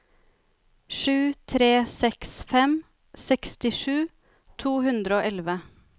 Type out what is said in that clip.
sju tre seks fem sekstisju to hundre og elleve